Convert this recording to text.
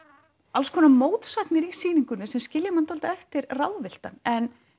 alls konar mótsagnir í sýningunni sem skilja mann eftir ráðvilltan en